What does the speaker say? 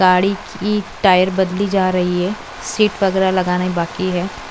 गाड़ी की टायर बदली जा रही है सीट वगैरा लगाना ही बाकी है।